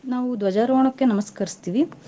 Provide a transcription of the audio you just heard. ನಾವೂ ದ್ವಜಾರೋಹಣಕ್ಕೆ ನಮಸ್ಕರ್ಸ್ತೀವಿ.